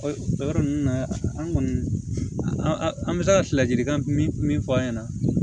O yɔrɔ ninnu na an kɔni an bɛ se ka ladilikan min min fɔ an ɲɛna